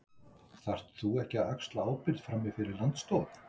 Þarft þú ekki að axla ábyrgð, frammi fyrir Landsdómi?